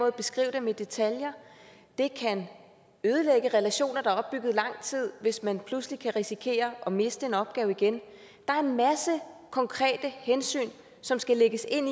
at beskrive dem i detaljer det kan ødelægge relationer der er opbygget lang tid hvis man pludselig kan risikere at miste en opgave igen der er en masse konkrete hensyn som skal lægges ind